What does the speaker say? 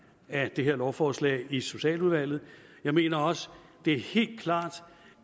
af det her lovforslag i socialudvalget jeg mener også det er helt klart